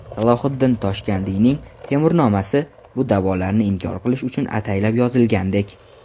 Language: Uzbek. Salohiddin Toshkandiyning "Temurnoma"si bu da’volarni inkor qilish uchun ataylab yozilgandek.